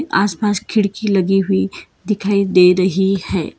आस पास खिड़की लगी हुई दिखाई दे रही है।